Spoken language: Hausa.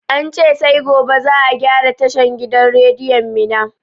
Ance sai gobe za a gyara tashan gidan rediyon mina